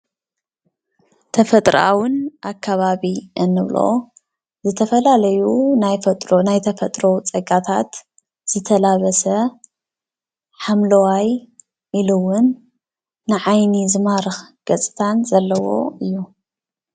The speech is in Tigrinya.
ተፈጥሮኣውን ኣከባብን እንብሎ ዝተፈላለዩ ናይ ተፈጥሮ ፀጋታት ዝተላበሰ ሓምለዋይ ኢሉ እውን ንዓይኒ ዝማርኽ ገፅታን ዘለዎ እዩ፡፡